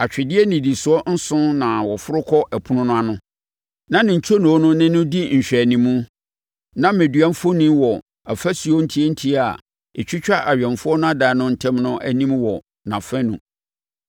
Atwedeɛ nnidisoɔ nson na wɔforo kɔ ɛpono no ano, na ne ntwonoo no ne no di nhwɛanim; na mmɛdua mfoni wɔ afasuo ntiantia a ɛtwitwa awɛmfoɔ no adan no ntam no anim wɔ nʼafanu.